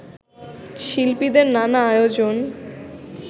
শিল্পীদের নানা আয়োজন